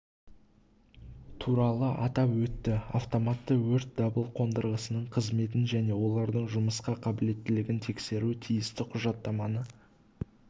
туралы атап өтті автоматты өрт дабыл қондырғысының қызметін және олардың жұмысқа қабілеттілігін тексеру тиісті құжаттаманы